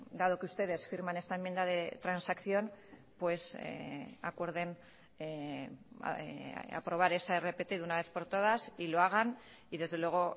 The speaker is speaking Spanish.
dado que ustedes firman esta enmienda de transacción pues acuerden aprobar esa rpt de una vez por todas y lo hagan y desde luego